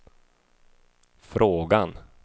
frågan